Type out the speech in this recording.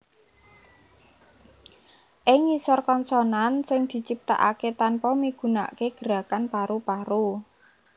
Ing ngisor konsonan sing diciptakaké tanpa migunakaké gerakan paru paru